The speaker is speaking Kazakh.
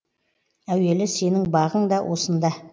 әуелі сенің бағың да осында